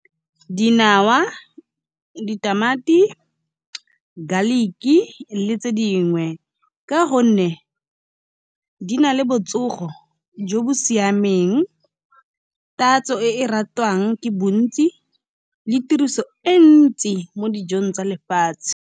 Dinawa, ditamati, garlic-ki le tse dingwe. Ka gonne di na le botsogo jo bo siameng, tatso e ratwang ke bontsi le tiriso e ntsi mo dijong tsa lefatshe.